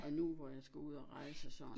Og nu hvor jeg skal ud og rejse og sådan